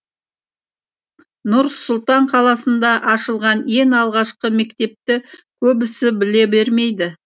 нұр сұлтан қаласында ашылған ең алғашқы мектепті көбісі біле бермейді